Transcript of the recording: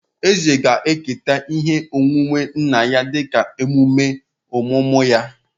Eze ga-eketa ihe onwunwe nna ya dịka emume ọmụmụ ya